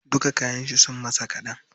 Duka kayan shi sun masa kaɗan.